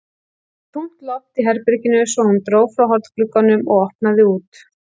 Það var þungt loft í herberginu svo hún dró frá hornglugganum og opnaði út.